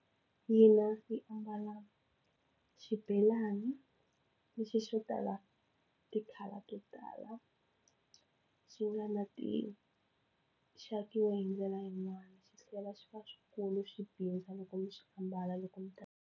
Hina hi ambala xibelani lexi xo tala ti-colour to tala xi nga na xi akiwe hi ndlela yin'wani xi tlhela xi va swikulu swi tika loko mi xi ambala loko mi .